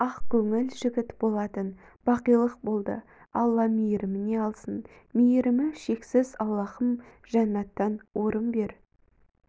ақ көңіл жігіт болатын бақилық болды алла мейіріміне алсын мейірімі шексіз аллаіым жәннәттан орын бер